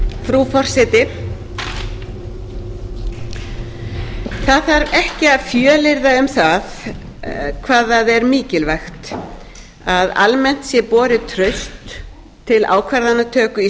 frú forseti það þarf ekki að fjölyrða um hvað það er mikilvægt að almennt sé borið traust til ákvarðanatöku í